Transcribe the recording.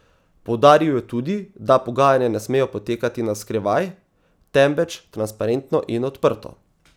Poudaril je tudi, da pogajanja ne smejo potekati na skrivaj, temveč transparentno in odprto.